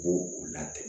Bo u latigɛ